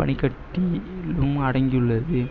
பனிக்கட்டியிலும் அடங்கியுள்ளது